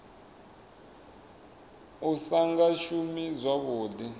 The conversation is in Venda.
u sa nga shumi zwavhuḓi